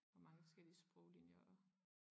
Og mange forskellige sproglinjer og